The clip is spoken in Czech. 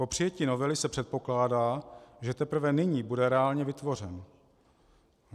Po přijetí novely se předpokládá, že teprve nyní bude reálně vytvořen.